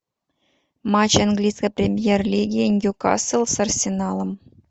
матч английской премьер лиги ньюкасл с арсеналом